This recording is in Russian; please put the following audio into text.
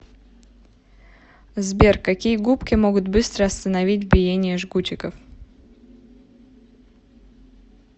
сбер какие губки могут быстро остановить биение жгутиков